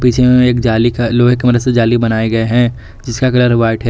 पीछे में एक जाली का लोहे की मदद से जाली बनाया गया है जिसका कलर व्हाइट है।